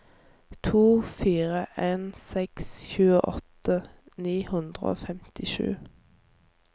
to fire en seks tjueåtte ni hundre og femtisju